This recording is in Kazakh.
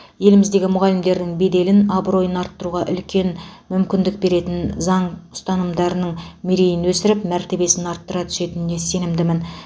еліміздегі мұғалімдердің беделін абыройын арттыруға үлкен мүмкіндік беретін заң ұстанымдарың мерейін өсіріп мәртебесін арттыра түсетініне сенімдімін